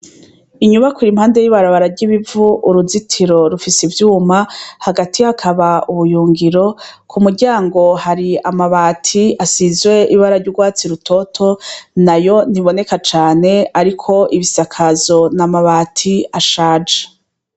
Inyubakwa ir'impande y'ibarabara ry'ibivu, uruzitiro rufis'ivyuma hagati hakaba ubuyungiro, k'umuryango har'amabati asizwe ibara ry'urwatsi rutoto, nayo ntiboneka cane ariko ibisakazo n'amabati ashaje.